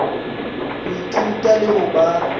ho ithuta le ho ba